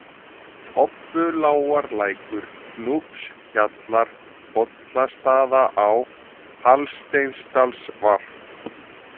Tobbulágarlækur, Núpshjallar, Bollastaðaá, Hallsteinsdalsvarp